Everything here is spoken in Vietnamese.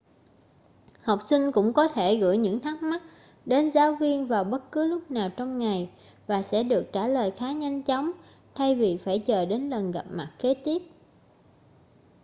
học sinh cũng có thể gửi những thắc mắc đến giáo viên vào bất cứ lúc nào trong ngày và sẽ được trả lời khá nhanh chóng thay vì phải chờ đến lần gặp mặt kế tiếp